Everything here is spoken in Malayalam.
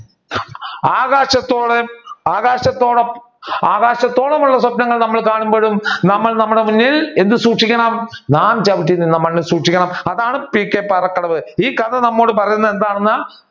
ആകാശത്തോളെആകാശത്തോളം ആകാശത്തോളമുള്ള സ്വപ്‌നങ്ങൾ കാണുമ്പോഴും നമ്മൾ നമ്മുടെ മുന്നിൽ എന്ത് സൂക്ഷിക്കണം നാം ചവിട്ടി നിന്ന മണ്ണ് സൂക്ഷിക്കണം. അതാണ് പി കെ പാറക്കടവ് ഈ കഥ നമ്മളോട് പറയുന്നത് എന്താണെന്ന്